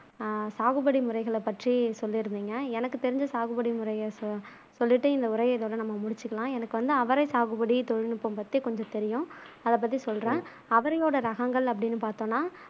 சாகுபடி முறைகளை பற்றி சொல்லிருந்திங்க எனக்கு தெரிஞ்ச சாகுபடி முறைய சொல்லிட்டு இந்த உரைய இதோட நாம முடிச்சுக்கலாம் எனக்கு வந்து அவரை சாகுபடி தொழில்நுட்பம் பத்தி கொஞ்சம் தெரியும் அத பத்தி சொல்றேன் அவரையோட ரகங்கள் அப்பிடினு பாத்தொம்னா